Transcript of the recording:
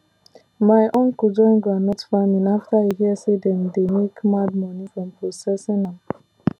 my uncle join groundnut farming after e hear say dem dey make mad money from processing am